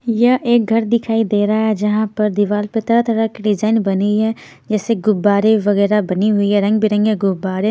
यह एक घर दिखाई दे रहा है जहां पर दीवार पर तरह-तरह की डिजाइन बनी है जैसे गुब्बारे वगैरह बनी हुई है रंग-बिरंगे गुब्बारे--